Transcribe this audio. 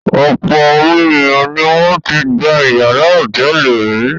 Ọ̀pọ̀ àwọn ènìyàn ni wọ́n ti gba ìyàrá hòtẹ́ẹ́lì rí.